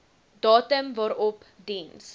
datum waarop diens